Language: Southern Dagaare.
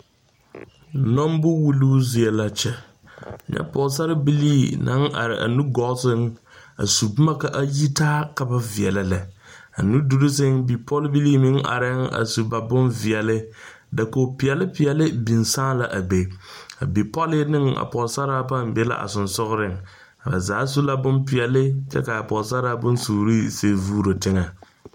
Nombo wulluu zie la kyɛ, nyɛ pɔgesarebilii naŋ are a nugɔɔ seŋ a su boma ka a yitaa ka ba veɛlɛ lɛ, a nuduur seŋ bipolbilii meŋ areŋ a su ba bonveɛle dakogi peɛlle peɛlle biŋ saaŋ la a be, a bipɔle ne a pɔgesaraa paa be la a sensɔgeleŋ ba zaa su la bonpeɛle kyɛ ka a pɔgesaraa bonsuuri sigi vuuro teŋe.